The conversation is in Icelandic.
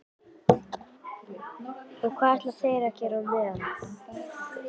Og hvað ætla þeir að gera á meðan?